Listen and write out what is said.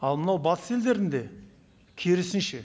ал мынау батыс елдерінде керісінше